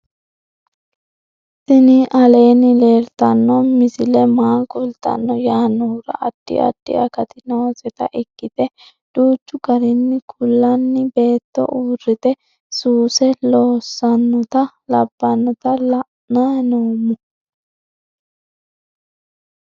tini aleenni leeltanno misi maa kultanno yaannohura addi addi akati nooseta ikkite duuchchu garinni kullanni beetto uurrite suuse loosannota labbannota la'anni noommo